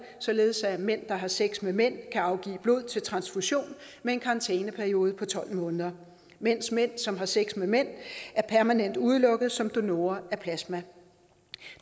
således at mænd der har sex med mænd kan afgive blod til transfusion med en karantæneperiode på tolv måneder mens mænd som har sex med mænd er permanent udelukket som donorer af plasma